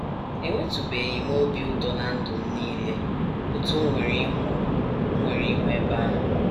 Enwetụbeghị m obi ụtọ ná ndụ m nile otú m nwere ịhụ m nwere ịhụ ebe ahụ.